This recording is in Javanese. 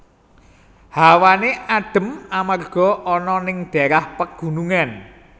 Hawane adhem amarga ana ning daérah pagunungan